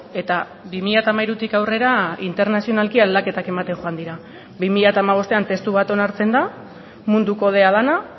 eta bi mila hamairutik aurrera internazionalki aldaketak ematen joan dira bi mila hamabostean testu bat onartzen da mundu kodea dena